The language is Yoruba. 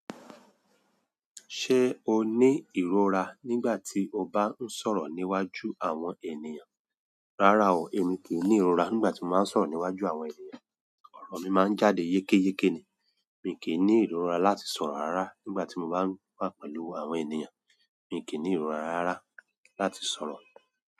Ṣé o ní ìrora nígbà tí o bá ń sọ̀rọ̀ níwájú àwọn ènìyàn? Rárá o, èmi kì í ní ìrora nígbà tí mo bá ń sọ̀rọ̀ níwájú àwọn ènìyàn. Òrọ̀ mi máa ń jáde yékéyéké ni. Èmi kì í ní ìrora láti sọ̀rọ̀ rara nígbà tí mo bá wà pẹ̀lú àwọn ènìyàn. Èmi kì í ní ìrora rara láti sọ̀rọ̀.